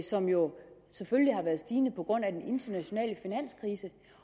som jo selvfølgelig har været stigende på grund af den internationale finanskrise